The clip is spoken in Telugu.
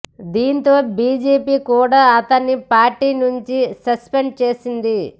దీంతో బీజేపీ కూడా అతన్ని పార్టీ నుంచి సస్పెండ్ చేసింది